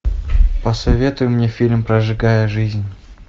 посоветуй мне фильм прожигая жизнь